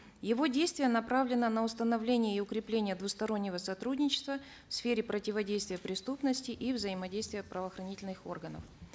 его действие направлено на установление и укрепление двустороннего сотрудничества в сфере противодействия преступности и взаимодействия правоохранительных органов